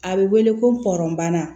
A bɛ wele ko pɔrɔnbana